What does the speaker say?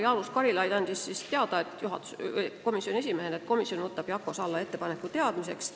Jaanus Karilaid andis komisjoni esimehena teada, et komisjon võtab Jako Salla märkuse teadmiseks.